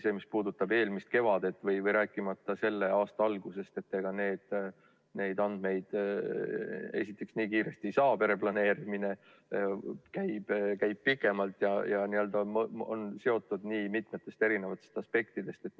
See, mis puudutab eelmist kevadet, rääkimata selle aasta algusest, siis ega neid andmeid esiteks nii kiiresti ei saa – pereplaneerimine käib pikemalt ja on seotud nii mitme eri aspektiga.